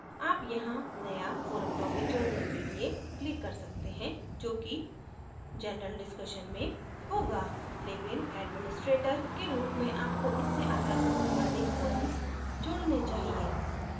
आप यहाँ नया forum topic जोडने के लिए click कर सकते हैं जो कि general discussion में होगा लेकिन administrator के रूप में आपको इस से अलग अधिक forums जोडने चाहिए